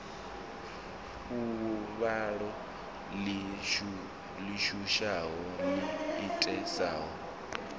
fuvhalo ḽi shushaho ḽo itisaho